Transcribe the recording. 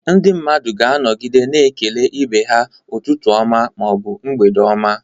Ndị mmadụ ga-anọgide na-ekele ibe ha "Ụtụtụ ọma" ma ọ bụ "mgbede oma."